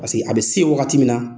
Paseke a bɛ se yen wagati min na